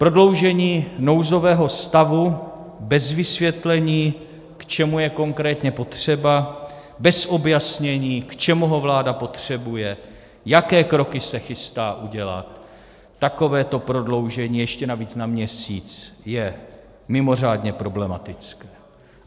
Prodloužení nouzového stavu bez vysvětlení, k čemu je konkrétně potřeba, bez objasnění, k čemu ho vláda potřebuje, jaké kroky se chystá udělat, takovéto prodloužení - ještě navíc na měsíc - je mimořádně problematické.